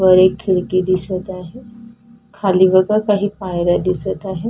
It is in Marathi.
वर एक खिडकी दिसत आहे खाली बघा काही पायऱ्या दिसत आहे.